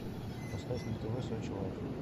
поставь на тв сочи лайф